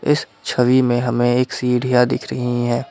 इस छवि में हमें एक सीढ़ियां दिख रही है।